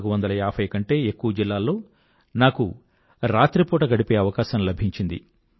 నాలుగువందల ఏభై కంటే ఎక్కువ జిల్లాల్లో నాకు రాత్రిపూట గడిపే అవకాశం లభించింది